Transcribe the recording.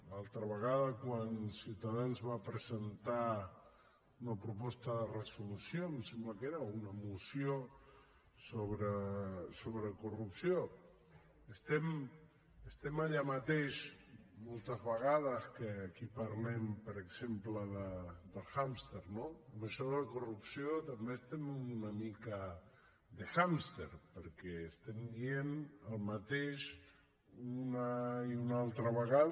l’altra vegada quan ciutadans va presentar una proposta de resolució em sembla que era o una moció sobre corrupció estem allà mateix moltes vegades que aquí parlem per exemple de l’hàmster no amb això de la corrupció també estem una mica d’hàmster perquè estem dient el mateix una i una altra vegada